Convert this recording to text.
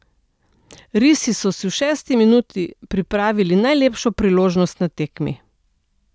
Risi so si v šesti minuti pripravili najlepšo priložnost na tekmi.